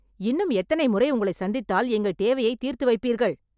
இன்னும் எத்தனை முறை உங்களை சந்தித்தால் எங்கள் தேவையை தீர்த்து வைப்பீர்கள்?